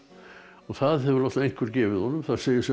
það hefur einhver gefið honum það segir sig